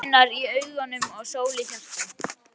Með stjörnur í augum og sól í hjarta.